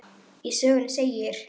Í sögunni segir: